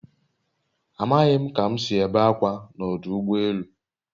A maghị m ka m si ebe akwa na ọdụ ụgbọ elu